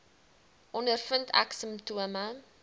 ondervind ek simptome